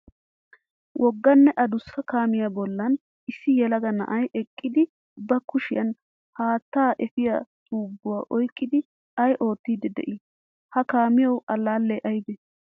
Wogaanne adduussa kaamiya bollan issi yelaga na'ay eqqidi ba kushiyan haataa efiya tubuwaa oyqqidi ay oottidi dei? Ha kaamiyawu allale aybe?